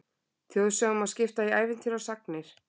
Þjóðsögum má skipta í ævintýri og sagnir.